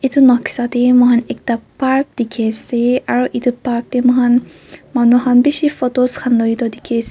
etu noksa te moihan ekta park dikhi ase aro etu park te moihan manu han bishi photos khan loi toh dikhi as.